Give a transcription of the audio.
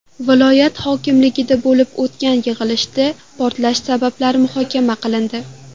Viloyat hokimligida bo‘lib o‘tgan yig‘ilishda portlash sabablari muhokama qilindi.